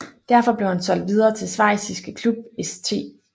Derfor blev han solgt videre til schweiziske klub St